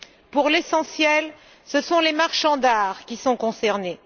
Pour l'essentiel, ce sont les marchands d'art qui sont concernés.